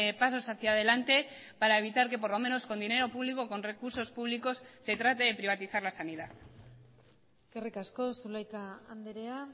pasos hacia delante para evitar que por lo menos con dinero público con recursos públicos se trate de privatizar la sanidad eskerrik asko zulaika andrea